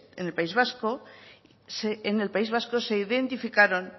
en el país vasco se identificaron